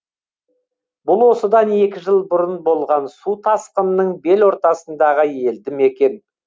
бұл осыдан екі жыл бұрын болған су тасқынының бел ортасындағы елді мекен